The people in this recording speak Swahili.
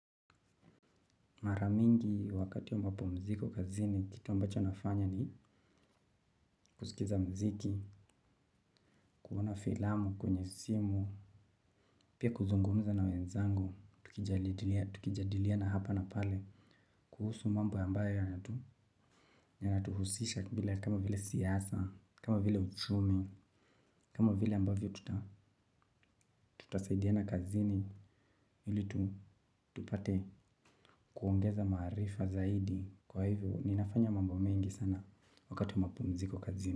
Mara mingi wakati ambapo mi siko kazini, kitu ambacho nafanya ni kusikiza muziki, kuona filamu kwenye simu, pia kuzungumza na wenzangu, tukijadiliana hapa na pale, kuhusu mambo ambayo yanatuhusisha kama vile siasa, kama vile uchumi, kama vile ambavyo tutasaidiana kazini, ili tupate kuongeza maarifa zaidi, kwa hivyo ninafanya mambo mengi sana wakati wa mapumziko kazini.